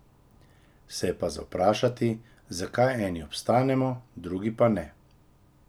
Se je pa za vprašati, zakaj eni obstanemo, drugi pa ne.